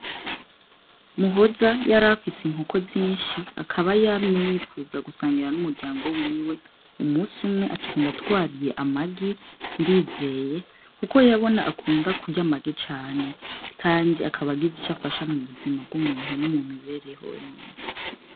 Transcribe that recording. Muhoza yarafise inkoko zinshi akaba yamye yifuza gusangira n'umuryango wiwe umusi umwe aca agenda atwariye amagi ndizeye, kuko yabona akunda kurya amagi cane, kandi akaba agira ico afasha mu buzima bw'umuntu no mumibereho y'umuntu.